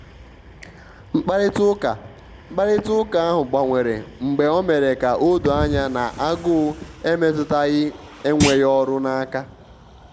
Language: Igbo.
mkparịta ụka mkparịta ụka ahụ gbanwere mgbe o mere ka ọ doo anya na agụụ emetụtaghi enweghị ọrụ n'aka.